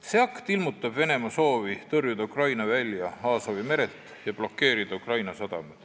See akt ilmutab Venemaa soovi tõrjuda Ukraina välja Aasovi merelt ja blokeerida Ukraina sadamad.